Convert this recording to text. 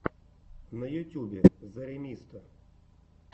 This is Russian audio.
на ютюбе зэремисто